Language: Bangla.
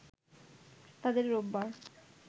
তাদের রোববার